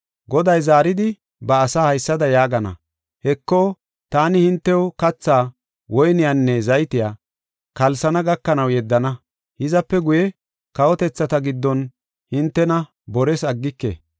Goday zaaridi ba asa haysada yaagana; “Heko, taani hintew kathaa, woyniyanne zaytiya, kalsana gakanaw yeddana; hizape guye kawotethata giddon hintena bores aggike.”